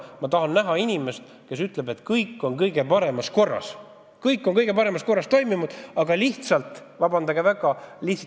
Ma tahan näha inimest, kes ütleb, et kõik on kõige paremas korras, kõik on kõige parema korra järgi toimunud, aga lihtsalt – vabandage väga!